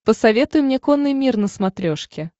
посоветуй мне конный мир на смотрешке